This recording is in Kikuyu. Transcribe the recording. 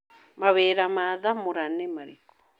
Mawĩra ma Thamũra nĩ marĩkũ?